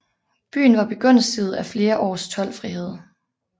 Byen var begunstiget af flere års toldfrihed